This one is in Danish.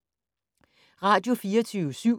Radio24syv